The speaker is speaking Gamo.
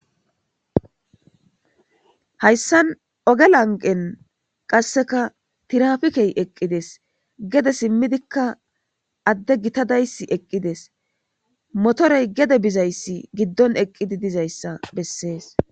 Hayssan ogge lanqqen qasekka tiraffikkey eqqides gedde simmidikka adde gittayi dayissi eqqides mottoreyi gedde bizayissi giddon eqqidi dizayisa besses.